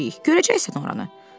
Görəcəksən oranı.